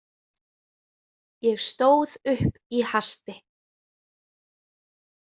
Ég stóð upp í hasti.